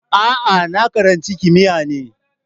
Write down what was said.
A'a, na karanci kimiyya ne